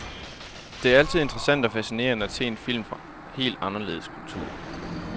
Det er altid interessant og fascinerende at se film fra helt anderledes kulturer.